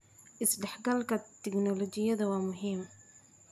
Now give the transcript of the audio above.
Isdhexgalka tignoolajiyada waa muhiim.